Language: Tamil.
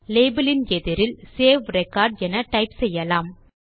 லேபல் இன் எதிரில் சேவ் ரெக்கார்ட் என டைப் செய்யலாம்